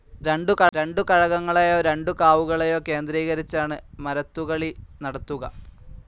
രണ്ടു കഴകങ്ങളെയോ രണ്ടു കാവുകളെയോ കേന്ദ്രീകരിച്ചാണ് മരത്തുകളി നടത്തുക.